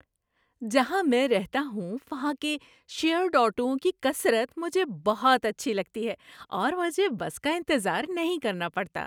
جہاں میں رہتا ہوں وہاں کے شیرڈ آٹوؤں کی کثرت مجھے بہت اچھی لگتی ہے اور مجھے بس کا انتظار نہیں کرنا پڑتا۔